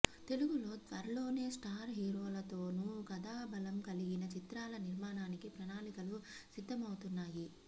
తెలుగు లో త్వరలోనే స్టార్ హీరోలతోనూ కథాబలం కలిగిన చిత్రాల నిర్మాణానికి ప్రణాళికలు సిద్ధమవుతున్నాయి